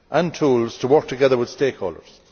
tools to work together with stakeholders.